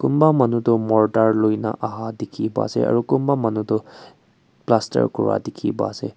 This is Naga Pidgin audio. kunba manu tu mortar loikena aha dekhi bai ase aru kunba manu tu plaster kura dekhi ba ase.